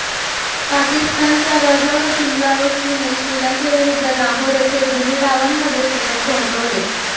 पाकिस्तानच्या वजाहतुल्ला वस्तीने श्रीलंकेविरुद्ध लाहोर येथे दोन्ही डावांमध्ये शतक झळकवले